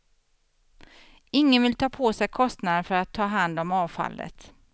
Ingen vill ta på sig kostnaderna för att ta hand om avfallet.